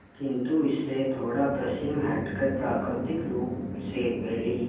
किंतु इससे थोड़ा पश्चिम हटकर प्राकृतिक रूप से फैली